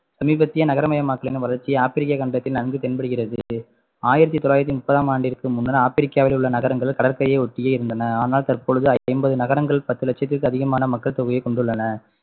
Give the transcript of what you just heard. சமீபத்திய நகரமயமாக்கலின்வளர்ச்சி ஆப்பிரிக்க கண்டத்தில் நன்கு தென்படுகிறது ஆயிரத்து தொள்ளாயிரத்து முப்பதாம் ஆண்டிற்கு முன்னர் ஆப்பிரிக்காவில் உள்ள நகரங்கள் கடற்கரையை ஒட்டியே இருந்தன ஆனால் தற்பொழுது ஐம்பது நகரங்கள் பத்து லட்சத்திற்கு அதிகமான மக்கள் தொகையை கொண்டுள்ளன